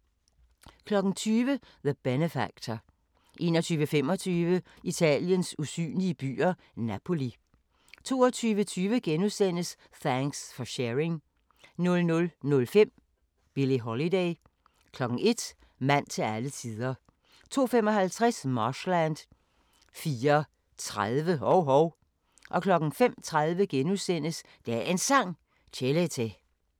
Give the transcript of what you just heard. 20:00: The Benefactor 21:25: Italiens usynlige byer – Napoli 22:20: Thanks for Sharing * 00:05: Billie Holiday 01:00: Mand til alle tider 02:55: Marshland 04:30: Hov-Hov 05:30: Dagens Sang: Chelete *